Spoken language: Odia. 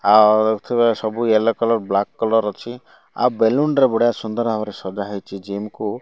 ଆଉ ଏଥିରେ ସବୁ ୟେଲୋ କଲର୍ ବ୍ଲାକ କଲର୍ ଅଛି ଆଉ ବେଲୁନ ରେ ସୁନ୍ଦର ଭାବରେ ସଜା ହେଇଚି ଜିମ୍ କୁ।